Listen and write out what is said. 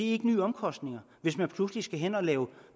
ikke nye omkostninger hvis man pludselig skal hen at lave